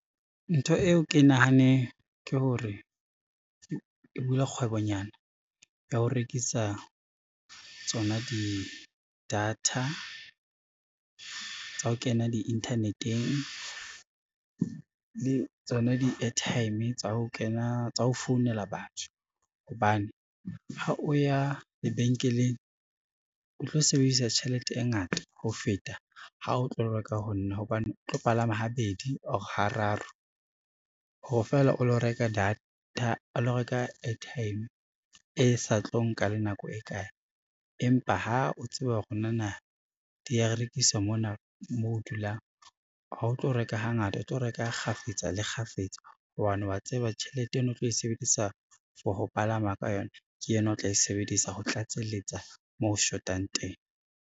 Ntho eo ke nahaneng ke hore, ke bule kgwebonyana ya ho rekisa tsona di-data tsa ho kena di-internet-eng le tsona di-airtime tsa ho founela batho. Hobane ha o ya lebenkeleng, o tlo sebedisa tjhelete e ngata ho feta ha o tlo reka ho nna hobane o tlo palama habedi or hararo, ho re fela o lo reka airtime e sa tlo nka le nako e kae. Empa ha o tseba hore na na di ya rekiswa mona moo o dulang ha o tlo reka hangata, o tlo reka kgafetsa le kgafetsa, hobane wa tseba tjhelete eno o tlo e sebedisa for ho palama ka yona ke ena o tla e sebedisa ho tlatselletsa moo shotang teng.